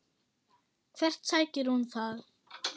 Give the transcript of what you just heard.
Hvert sækir hún það?